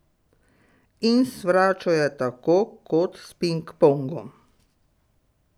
In s fračo je tako kot s pingpongom.